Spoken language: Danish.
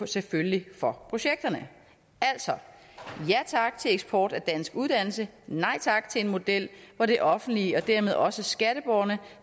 selvfølgelig for projekterne altså ja tak til eksport af dansk uddannelse nej tak til en model hvor det offentlige og dermed også skatteborgerne